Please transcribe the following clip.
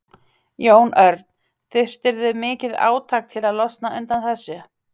Jón Örn: Þurftirðu mikið átak til að losna undan þessu?